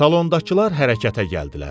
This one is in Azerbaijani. Salondakılar hərəkətə gəldilər.